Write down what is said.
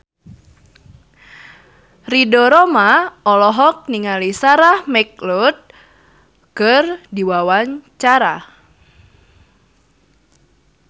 Ridho Roma olohok ningali Sarah McLeod keur diwawancara